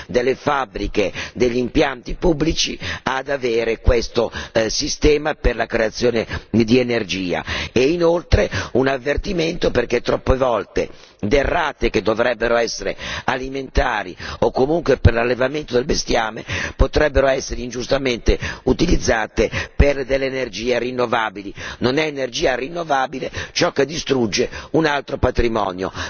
delle fabbriche, degli impianti pubblici ad avere questo sistema per la creazione di energia. Un altro avvertimento riguarda il fatto che troppe volte derrate che dovrebbero essere alimentari o comunque destinate all'allevamento del bestiame potrebbero essere ingiustamente utilizzate per le energie rinnovabili. Non è energia rinnovabile ciò che distrugge un altro patrimonio.